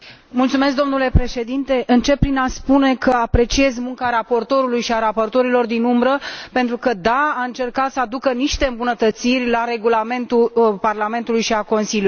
Domnule președinte, încep prin a spune că apreciez munca raportorului și a raportorilor din umbră pentru că, da, au încercat să aducă niște îmbunătățiri la regulamentul Parlamentului și al Consiliului.